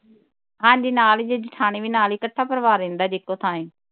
ਹਾਜੀ ਨਾਲ ਜੇਠਾਣੀ ਵੀ ਨਾਲ ਹੀ ਇਕੱਠਾ ਪਰਿਵਾਰ ਰਹਿੰਦਾ ਜੇ ਇਕੋ ਥਾਂ ਹੀ